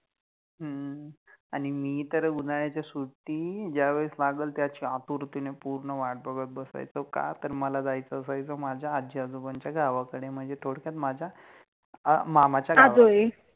अम्म, आणि मी तर उन्हाळ्याच्या सुट्टित ज्यावेळेस लागल त्याचि आतुरतेने वाट बघत बसायचो, का तर मला जायच असायच माझ्या आजी आजोबांच्या गावाकडे म्हणजे थोडक्यात माझ्या मामाच्या गावाला